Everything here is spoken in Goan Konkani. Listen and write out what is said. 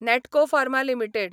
Natco Pharma limited